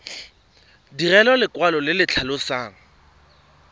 direlwa lekwalo le le tlhalosang